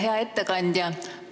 Hea ettekandja!